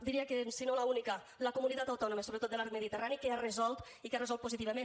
diria que si no l’única la comunitat autònoma sobretot de l’arc mediterrani que ha resolt i que ha resolt positivament